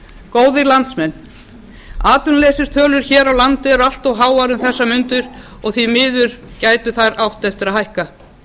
góðir landsmenn atvinnuleysistölur hér á landi eru allt háar um þessar mundir og því miður gætu þær átt eftir að hækka